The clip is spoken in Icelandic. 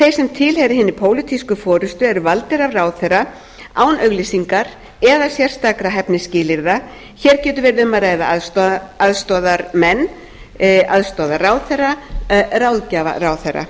þeir sem tilheyra hinni pólitísk forustu eru valdir af ráðherra án auglýsingar eða sérstakra hæfnisskilyrða hér getur verið um að ræða aðstoðarmenn aðstoðarráðherra ráðgjafa ráðherra